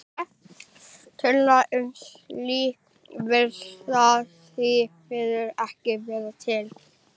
Tölur um slíkt virðast því miður ekki vera til.